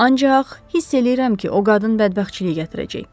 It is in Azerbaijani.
Ancaq hiss eləyirəm ki, o qadın bədbəxtçilik gətirəcək.